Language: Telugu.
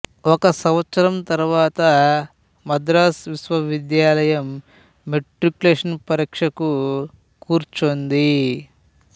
ఒక సంవత్సరం తరువాత మద్రాసు విశ్వవిద్యాలయం మెట్రిక్యులేషన్ పరీక్షకు కూర్చొంది